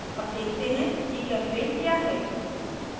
अब देखते हैं gchempaint क्या है